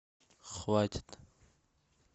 хватит